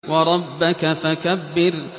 وَرَبَّكَ فَكَبِّرْ